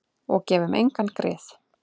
Og gefum engum grið.